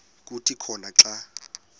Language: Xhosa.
kuthi khona xa